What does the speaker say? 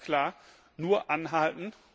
Aber ganz klar nur anhalten!